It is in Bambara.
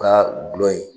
U ka gulɔ ye